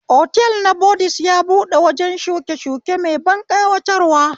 Otal na bodiz ya buɗe wajen shukeshuke mai ban ƙayatarwa